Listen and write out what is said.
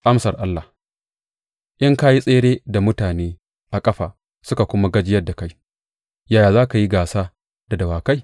Amsar Allah In ka yi tsere da mutane a ƙafa suka kuma gajiyar da kai, yaya za ka yi gasa da dawakai?